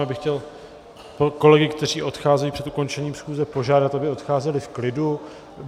Já bych chtěl kolegy, kteří odcházejí před ukončením schůze, požádat, aby odcházeli v klidu.